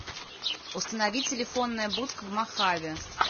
установи телефонная будка в мохаве